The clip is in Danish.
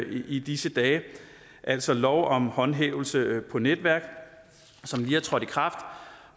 i disse dage altså lov om håndhævelse på netværk som lige er trådt i kraft